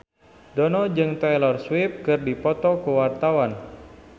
Dono jeung Taylor Swift keur dipoto ku wartawan